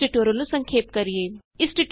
ਆਉ ਹੁਣ ਇਸ ਟਯੂਟੋਰਿਅਲ ਨੂੰ ਸੰਖੇਪ ਕਰੀਏ